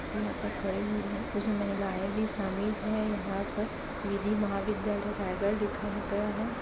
व्यक्ति यहाँ पर खड़े हुए है इसमे महिलाएं भी शामिल है यहाँ पर विधि महाविद्दयालय रायगढ़ लिखा हुआ है।